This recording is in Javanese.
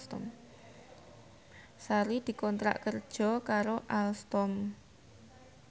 Sari dikontrak kerja karo Alstom